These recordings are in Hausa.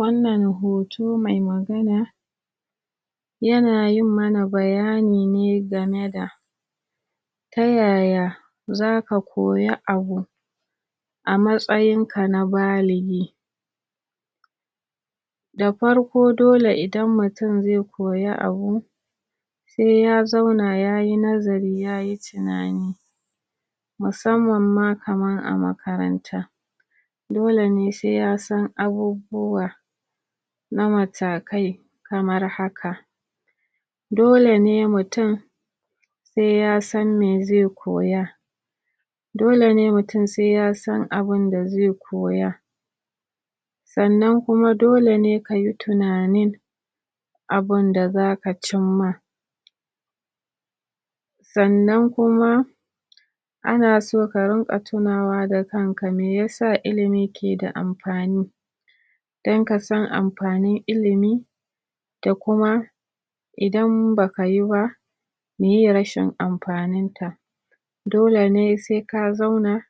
Wannan hoto mai magana yana yin mana bayani ne game da ta yaya zaka koya abu a matsayinka na baligi sai ya zauna yayi nazari yayi tunani dole ne sai ya san abubuwa na matakai kamar haka dole ne mutum sai ya san me zai koya dole ne mutum sai ya san abinda zai koya sannan kuma dole ne kayi tunanin abunda zaka cimma sannan kuma ana so ka rinƙa tunawa da kan ka meyasa ilimi ke da amfani dan kasan amfanin ilimi da kuma idan baka yi ba meye rashin amfanin sa dole ne sai ka zauna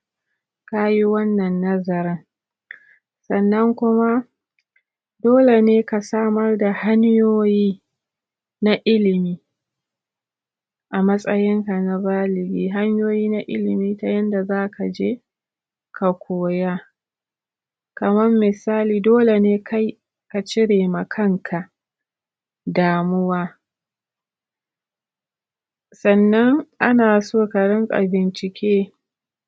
kayi wannan nazarin sannan kuma dole ne ka samar da hanyoyi na ilimi a matsayinka na baligi, hanyoyi na ilimi ta yanda zaka je ka koya kamar mi.. sali dole ne kai ka cire ma kan ka damuwa sannan ana so ka rinƙa bincike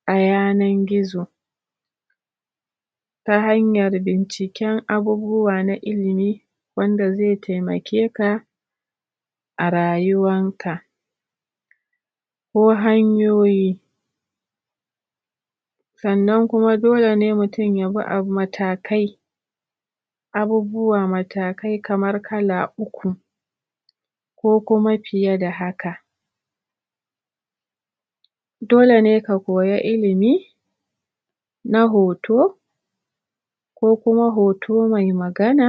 a yanar gizo ta hanyar binciken abubuwa na ilimi wanda zai taimake ka a rayuwan ka ko hanyoyi sannan kuma dole ne mutum ya bi abu ma takai abubuwa matakai kamar kala uku ko kuma fiye da haka dole ne ka koya ilimi na hoto ko kuma hoto mai magana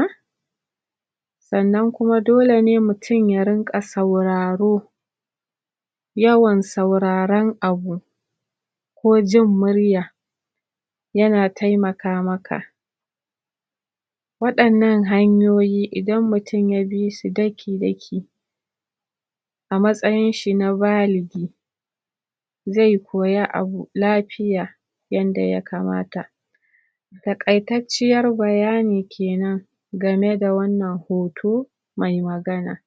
sannan kuma dole ne mutum ya rinƙa sauraro yawan sauraran abu ko jin murya yana taimaka maka waɗannan hanyoyi idan mutum ya bisu dakii-dakii a matsayin shi na baligi zai koya abu lafiya yanda ya kamata taƙaitacciyar bayani kenan game da wannan hoto mai magana